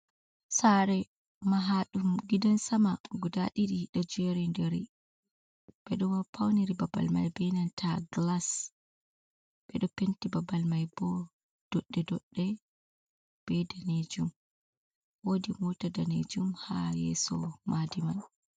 Saare mahaađum gidan sama guda điđi đo jeerindiri, 6eđo pauniri babal mai beh nanta gilas, beđo penti babal mai boh dođđe dođđe beh daneejum, woodi moota daneejum haa yeeso maadi man.